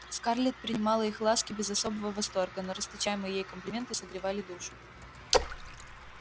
скарлетт принимала их ласки без особого восторга но расточаемые ей комплименты согревали душу